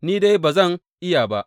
Ni dai ba zan iya ba.